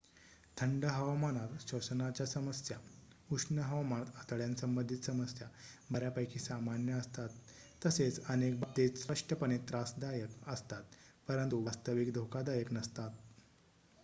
थंड हवामानात श्वसनाच्या समस्या उष्ण हवामानात आतड्यांसंबंधी समस्या बर्‍यापैकी सामान्य असतात तसेच अनेक बाबतीत स्पष्टपणे त्रासदायक असतात परंतु वास्तविक धोकादायक नसतात